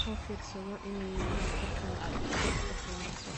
so firsado inay wifi rkan aay ushaqeyneso.